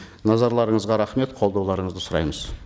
назарларыңызға рахмет қолдауларыңызды сұраймыз